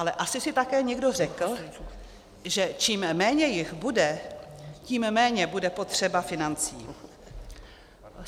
Ale asi si také někdo řekl, že čím méně jich bude, tím méně bude potřeba financí.